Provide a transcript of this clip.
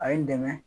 A ye n dɛmɛ